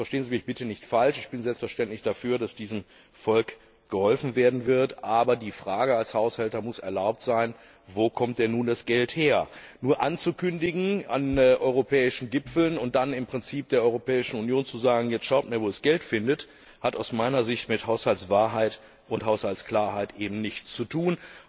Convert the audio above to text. Verstehen Sie mich bitte nicht falsch, ich bin selbstverständlich dafür, dass diesem Volk geholfen wird, aber die Frage als Haushälter muss erlaubt sein Wo kommt denn nun das Geld her? Dies nur auf europäischen Gipfeln anzukündigen und dann im Prinzip der Europäischen Union zu sagen Jetzt schaut mal, wo ihr das Geld findet, hat aus meiner Sicht mit Haushaltswahrheit und Haushaltsklarheit nichts zu